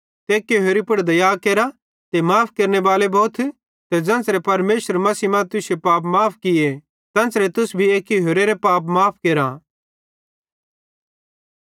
ते एक्की होरि पुड़ दया केरा ते माफ़ केरनेबाले भोथ ते ज़ेन्च़रे परमेशरे मसीह मां तुश्शे पाप माफ़ किये तेन्च़रे तुस भी एक्की होरेरे पाप माफ़ केरा